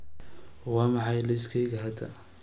waa maxay liiskayga hadda